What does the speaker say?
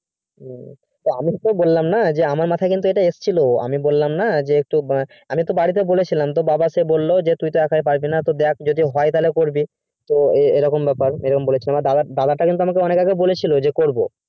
আমি তোকে বললাম না আমার মাথায় ওই টাই এসেছিলো আমি বললাম না যে আমি তো বাড়িতে বলেছিলাম বাবা যে বললো তুই টি একই পারবি না তো দেখ যদি হয় তাহলে বলবি তো এইরকম ব্যাপার দাদা তো একবার বলেছিলো আমি তো করবো